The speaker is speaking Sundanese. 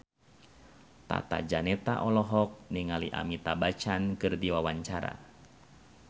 Tata Janeta olohok ningali Amitabh Bachchan keur diwawancara